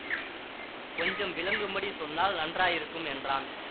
கொஞ்சம் விளங்கும்படி சொன்னால் நன்றாயிருக்கும் என்றான்